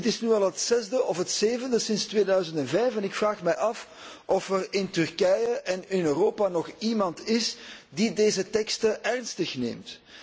Dit is nu al het zesde of het zevende sinds 2005, en ik vraag mij af of er in Turkije en in Europa nog iemand is die deze teksten serieus neemt.